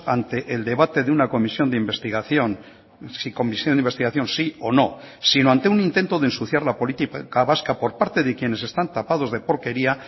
ante el debate de una comisión de investigación si comisión de investigación sí o no sino ante un intento de ensuciar la política vasca por parte de quienes están tapados de porquería